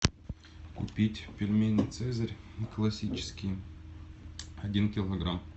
купить пельмени цезарь классические один килограмм